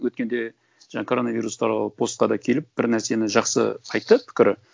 өткенде жаңа коронавирус туралы постқа да келіп бір нәрсені жақсы айтты пікірі